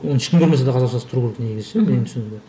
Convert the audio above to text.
оны ешкім көрмеседе қазақшасы тұру керек негізі ше менің түсінігімде